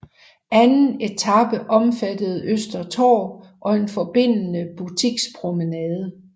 Anden etape omfattede Øster Torv og en forbindende butikspromenade